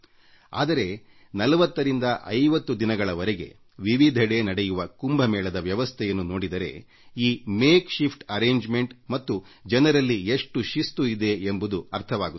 ಆದರೆ ನಾವು 4045 ದಿನಗಳ ಕಾಲ ಆಚರಿಸುವ ಕುಂಭಮೇಳದ ವ್ಯವಸ್ಥೆಯನ್ನು ನೋಡಿದರೆ ಈ ತಾತ್ಕಾಲಿಕ ವ್ಯವಸ್ಥೆಯ ನಡುವೆಯೂ ಜನರು ಅನುಸರಿಸುತ್ತಾ ಬಂದಿರುವ ಶ್ರೇಷ್ಠ ಶಿಸ್ತುಪಾಲನೆಯನ್ನು ಪ್ರದರ್ಶಿಸುತ್ತದೆ